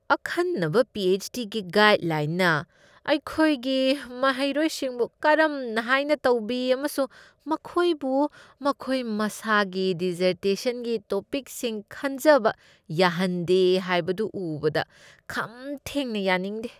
ꯑꯈꯟꯅꯕ P. H. D. ꯒꯤ ꯒꯥꯏꯗꯁꯤꯡꯅ ꯃꯈꯣꯏꯒꯤ ꯃꯍꯩꯔꯣꯏꯁꯤꯡꯕꯨ ꯀꯔꯝ ꯍꯥꯏꯅ ꯇꯧꯕꯤ ꯑꯃꯁꯨꯡ ꯃꯈꯣꯏꯕꯨ ꯃꯈꯣꯏ ꯃꯁꯥꯒꯤ ꯗꯤꯁꯁꯔꯇꯦꯁꯟꯒꯤ ꯇꯣꯄꯤꯛꯁꯤꯡ ꯈꯟꯖꯕ ꯌꯥꯍꯟꯗꯦ ꯍꯥꯏꯕꯗꯨ ꯎꯕꯗ ꯈꯝ ꯊꯦꯡꯅ ꯌꯥꯅꯤꯡꯗꯦ꯫